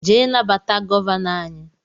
jee nabata Gọvanọ anyị